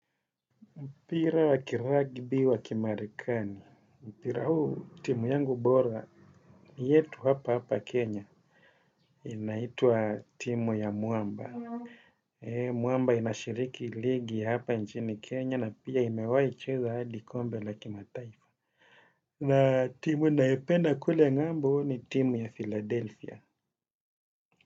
Mpira wa kiragbi wakimarekani. Mpira huu timu yangu bora ni, yetu hapa hapa Kenya. Inaitwa timu ya mwamba. Mwamba inashiriki ligi hapa nchini Kenya na pia imewahicheza hadi kombe la kimataifa. Na timu ninayoipenda kule ng'ambo ni timu ya Philadelphia.